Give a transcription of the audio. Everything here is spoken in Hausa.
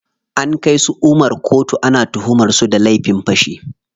An kai su Umar koto, ana tuhumar su da laifin fashi.